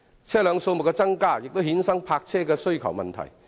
車輛數目增加亦衍生泊車位需求的問題。